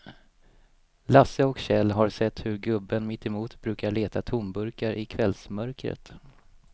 Lasse och Kjell har sett hur gubben mittemot brukar leta tomburkar i kvällsmörkret.